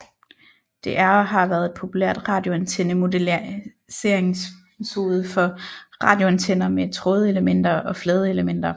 Det er og har været et populært radioantenne modelleringsmetode for radioantenner med trådelementer og fladeelementer